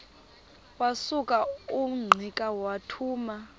wasuka ungqika wathuma